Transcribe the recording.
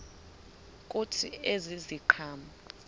kuthi ezi ziqhamo